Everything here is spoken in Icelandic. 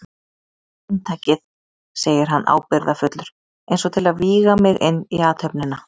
Inntakið, segir hann ábyrgðarfullur eins og til að vígja mig inn í athöfnina.